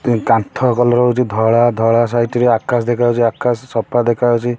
କାନ୍ଥ କଲର୍ ହୋଉଚି ଧଳା। ଧଳା ସାଇଟ୍ ରେ ଆକାଶ ଦେଖା ହୋଉଚି। ଆକାଶ ସଫା ଦେଖା ହୋଉଚି। ଏ